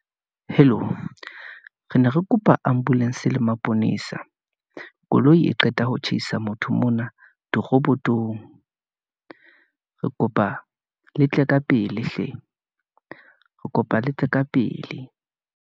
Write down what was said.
Hello, re ne re kopa ambulance le maponesa , koloi e qeta ho tjhaisa motho mona diroboto . Re kopa letle ka pele hle , re kopa letle ka pele.